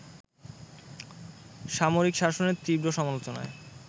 সামরিক শাসনের তীব্র সমালোচনায়